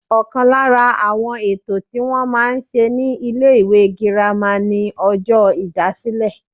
Ọ̀kan lára àwọn ètò tí wọ́n máa ń ṣe ní ilé ìwé girama ni ọjọ́ ìdásílẹ̀